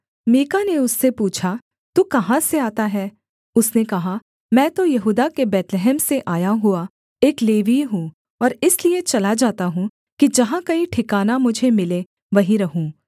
मीका ने उससे पूछा तू कहाँ से आता है उसने कहा मैं तो यहूदा के बैतलहम से आया हुआ एक लेवीय हूँ और इसलिए चला जाता हूँ कि जहाँ कहीं ठिकाना मुझे मिले वहीं रहूँ